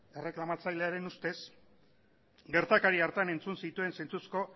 erreklamatzailearen ustez gertakari hartan entzun zituen zentzuzko